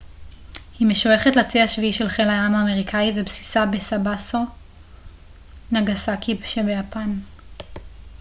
היא משויכת לצי השביעי של חיל הים האמריקאי ובסיסה בסאסבו נגאסאקי ביפן